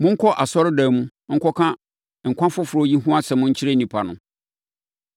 “Monkɔ asɔredan mu nkɔka nkwa foforɔ yi ho asɛm nkyerɛ nnipa no.”